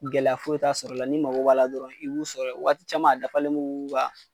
Gɛlɛya foyi t'a sɔrɔ la n'i mago b'a la dɔrɔn i b'u sɔrɔ ye wagati caman a dafalen be k'u ka